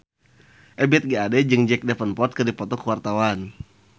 Ebith G. Ade jeung Jack Davenport keur dipoto ku wartawan